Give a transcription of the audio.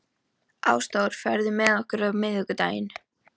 Ásdór, ferð þú með okkur á miðvikudaginn?